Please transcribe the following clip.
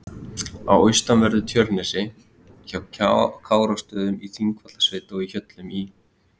á austanverðu Tjörnesi, hjá Kárastöðum í Þingvallasveit og í Hjöllum í